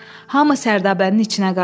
Hamı sərdabənin içinə qaçdı.